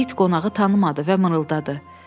İt qonağı tanımadı və mırıldadı.